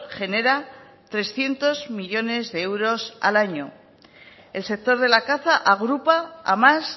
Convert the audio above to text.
genera trescientos millónes de euros al año el sector de la caza agrupa a más